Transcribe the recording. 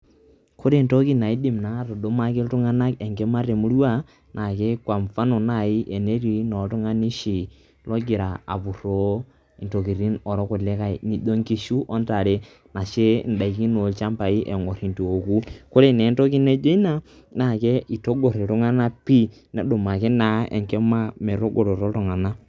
ore entoki naa naidim atudumaki iltunganak enkima te murua naa tenetii naa kwa mfano oltunganai oshi logira, apuroo intokitin oolkulikae naijo nkishu o ntare, ashu idaikin oolchampai eton eitu eku, ore naa entoki naijo ina, naa itagor iltungana pii nedumaki naa enkima metagoroto iltung'anak.